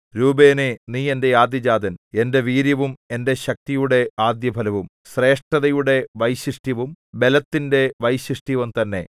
രൂബേനേ നീ എന്റെ ആദ്യജാതൻ എന്റെ വീര്യവും എന്റെ ശക്തിയുടെ ആദ്യഫലവും ശ്രേഷ്ഠതയുടെ വൈശിഷ്ട്യവും ബലത്തിന്റെ വൈശിഷ്ട്യവും തന്നെ